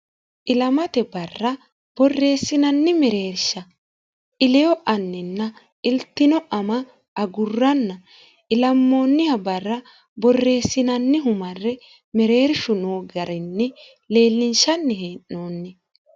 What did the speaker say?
ilamate barra borreessinanni mereersha ileyo anninna iltino ama agurranna ilammoonniha barra borreessinanni humarre mereershu noo garinni leellinshanni hee'noonni